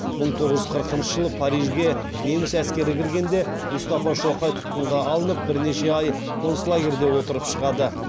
мың тоғыз жүз қырқыншы жылы парижге неміс әскері кіргенде мұстафа шоқай тұтқынға алынып бірнеше ай концлагерьде отырып шығады